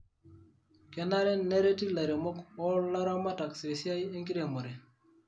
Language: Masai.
Kenare nereti lairemok wo laramatak tesiai enkiremore.